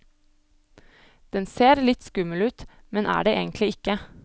Den ser litt skummel ut, men er det egentlig ikke.